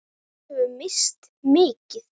Við höfum misst mikið.